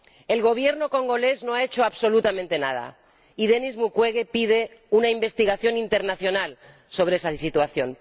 El Gobierno congolés no ha hecho absolutamente nada y Denis Mukwege pide una investigación internacional sobre esa situación.